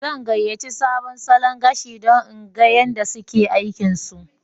Zan gayace sabon salon gashi dan in gan yada suke aikin su